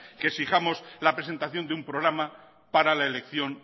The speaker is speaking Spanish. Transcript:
que exijamos la presentación de un programa para la elección